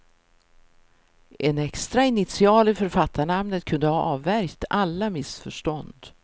En extra initial i författarnamnet kunde ha avvärjt alla missförstånd.